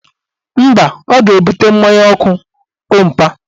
Mba, ọ ga-ebute mmanya ọkụ ompa